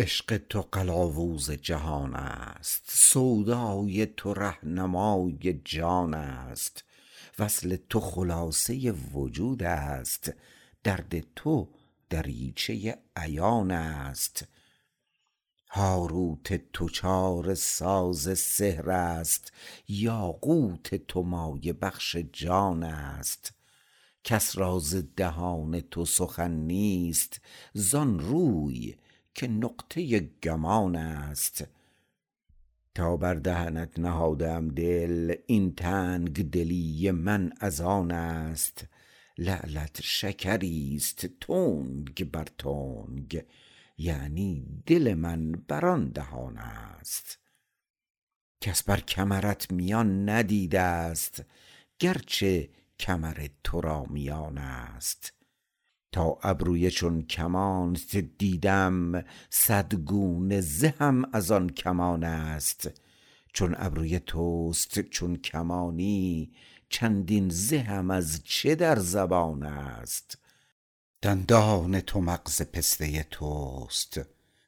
عشق تو قلاوز جهان است سودای تو رهنمای جان است وصل تو خلاصه وجود است درد تو دریچه عیان است هاروت تو چاره ساز سحر است یاقوت تو مایه بخش جان است کس را ز دهان تو سخن نیست زان روی که نقطه گمان است تا بر دهنت نهاده ام دل این تنگ دلی من از آن است لعلت شکری است تنگ بر تنگ یعنی دل من بر آن دهان است کس بر کمرت میان ندیدست گرچه کمر تو را میان است تا ابروی چون کمانت دیدم صد گونه زهم از آن کمان است چون ابروی توست چون کمانی چندین زهم از چه در زبان است دندان تو مغز پسته توست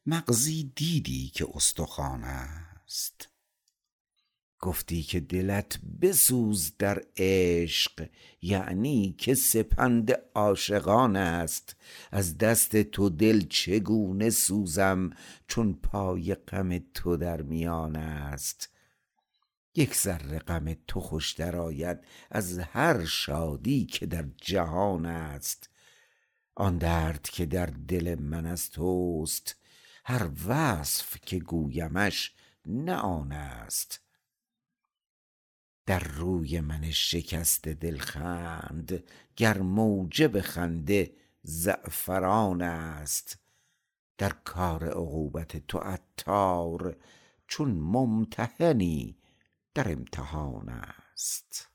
مغزی دیدی که استخوان است گفتی که دلت بسوز در عشق یعنی که سپند عاشقان است از دست تو دل چگونه سوزم چون پای غم تو در میان است یک ذره غم تو خوشتر آید از هر شادی که در جهان است آن درد که در دل من از توست هر وصف که گویمش نه آن است در روی من شکسته دل خند گر موجب خنده زعفران است در کار عقوبت تو عطار چون ممتحنی در امتحان است